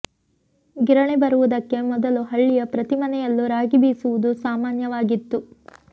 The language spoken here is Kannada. ಗಿರಣಿ ಬರುವುದಕ್ಕೆ ಮೊದಲು ಹಳ್ಳಿಯ ಪ್ರತಿ ಮನೆಯಲ್ಲೂ ರಾಗಿ ಬೀಸುವುದು ಸಾಮಾನ್ಯವಾಗಿತ್ತು